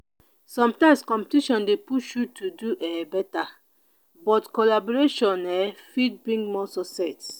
sometimes competition dey push you to do um better but collaboration um fit bring more success.